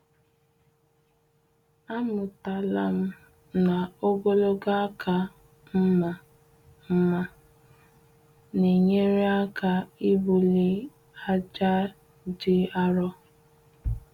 Amụtala m na ogologo aka mma mma na-enyere aka ịbulie aja dị arọ.